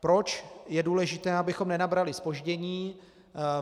Proč je důležité, abychom nenabrali zpoždění?